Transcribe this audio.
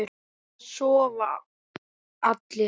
Það sofa allir.